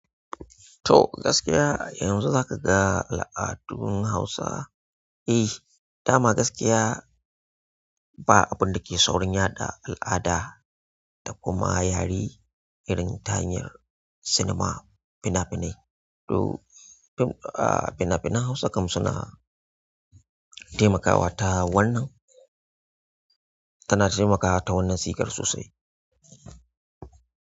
To gaskiya a yanzu zakaga al'adun hausa. Eh dama gaskiya ba abun dake saurinya da al'ada da kuma yare irin ta hanyar cinema fina-finai. To fim a fina-finan Hausa kam suna taimakawa ta wannan, tana taimakawa ta wannan sigar sosai.